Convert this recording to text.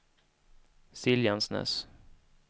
Siljansnäs